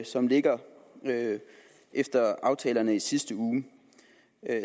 som ligger efter aftalerne i sidste uge